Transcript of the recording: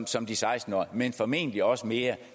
som de seksten årige men formentlig også mere